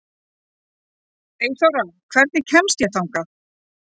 Eyþóra, hvernig kemst ég þangað?